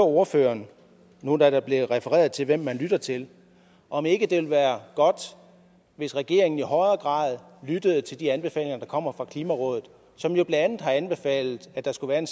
ordføreren nu da der blev refereret til hvem man lytter til om ikke det vil være godt hvis regeringen i højere grad lytter til de anbefalinger der kommer fra klimarådet som jo bla har anbefalet at der skulle være en